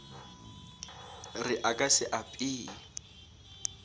re a ka se apee